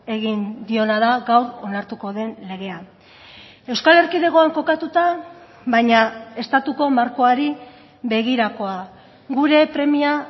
egin diona da gaur onartuko den legea euskal erkidegoan kokatuta baina estatuko markoari begirakoa gure premia